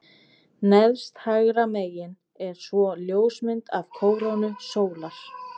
Neðst hægra megin er svo ljósmynd af kórónu sólar.